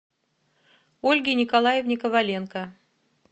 ольге николаевне коваленко